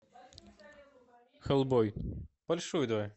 хеллбой большую давай